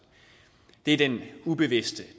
det er den ubevidste